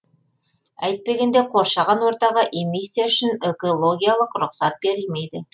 әйтпегенде қоршаған ортаға эмиссия үшін экологиялық рұқсат берілмейді